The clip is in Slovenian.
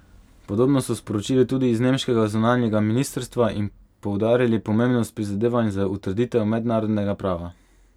Podobno so sporočili tudi z nemškega zunanjega ministrstva in poudarili pomembnost prizadevanj za utrditev mednarodnega prava.